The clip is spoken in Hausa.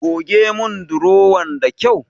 Goge mun durowan da kyau.